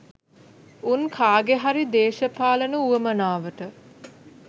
උන් කාගෙහරි දේශපාලන උවමනාවට